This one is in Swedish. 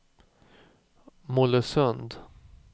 Mollösund